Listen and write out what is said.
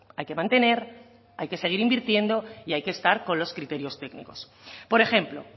hay que mantener hay que seguir invirtiendo y hay que estar con los criterios técnicos por ejemplo